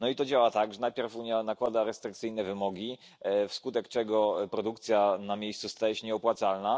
I to działa tak, że najpierw Unia nakłada restrykcyjne wymogi, wskutek czego produkcja na miejscu staje się nieopłacalna.